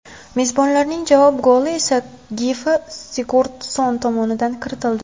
Mezbonlarning javob goli esa Gilfi Sigurdsson tomonidan kiritildi.